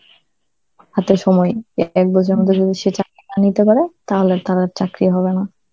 হাতে সময়, এক বছরের মধ্যে যদি সে চাকরি না নিতে পারে তাহলে তার আর চাকরি হবে না.